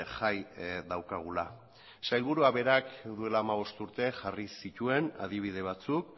jai daukagula sailburua berak duela hamabost urte jarri zituen adibide batzuk